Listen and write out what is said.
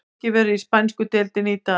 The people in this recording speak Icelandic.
Leikið verður í spænsku deildinni í dag.